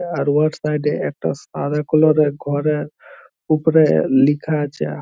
আর ওআর সাইড -এ একটা সাদা কালারের -এর ঘরে ওপরে লেখা আইছে ।